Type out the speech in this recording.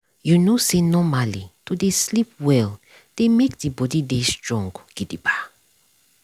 you know say normally to dey sleep well dey make the body dey strong gidigba.